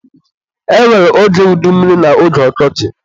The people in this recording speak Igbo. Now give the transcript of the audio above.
E nwere oge udummiri na oge ọkọchị